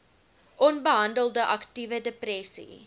onbehandelde aktiewe depressie